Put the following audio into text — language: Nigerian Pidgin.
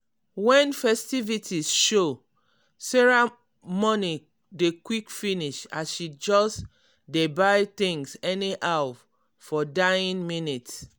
when ffestivities show sarah money dey quick finish as she just dey buy things anyhow for dying minute.